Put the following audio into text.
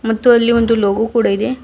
ಮತ್ತು ಅಲ್ಲಿ ಒಂದು ಲೋಗೋ ಕೂಡ ಇದೆ.